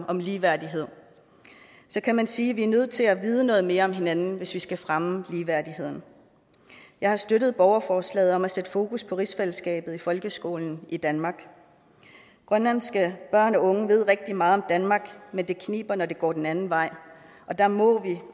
om ligeværdighed så kan man sige at vi er nødt til at vide noget mere om hinanden hvis vi skal fremme ligeværdigheden jeg har støttet borgerforslaget om at sætte fokus på rigsfællesskabet i folkeskolen i danmark grønlandske børn og unge ved rigtig meget om danmark men det kniber når det går den anden vej og der må